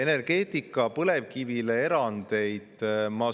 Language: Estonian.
Energeetikas põlevkivile erandid?